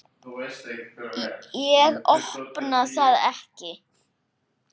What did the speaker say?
Ég opna það ekki.